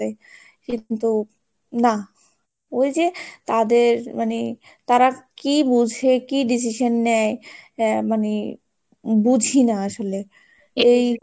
কিন্তু না, ওই যে তাদের মানে তারা কি বোঝে? কি decision নেয়, আহ মানে বুঝিনা আসলে এই,